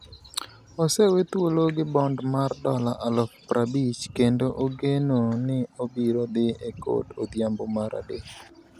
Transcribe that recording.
Osewethuolo gi bond mar dola aluf prabich kendo ogeno ni obiro dhi e kot odhiambo mar adek.